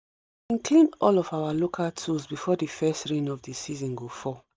we clean all of our local tools before the first rain of the season go fall